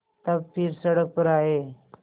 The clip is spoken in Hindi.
तब फिर सड़क पर आये